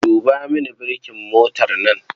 Duba mini burkin motar nan.